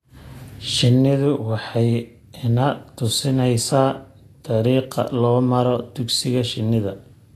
Shinnidu waxay ina tusinaysaa dariiqa loo maro dugsiga shinnida.